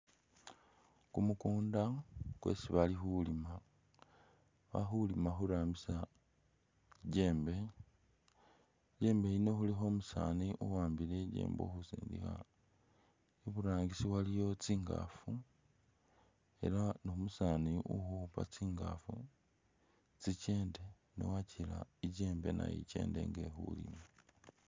Kumukunda kwesi bali khulima. Bali khulima khurambisa i'jembe, i'jembe yino khulikho umusaani uwambile i'jembe uli khusindikha. Iburangisi waliwo tsingaafu ela ni umusaani uli ukhuupa tsingaafu tsikende ne wakila i'jembe nayo ikende nga ili khulima.